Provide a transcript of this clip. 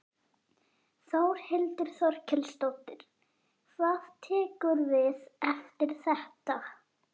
Þórhildur Þorkelsdóttir: Hvað tekur við eftir þetta?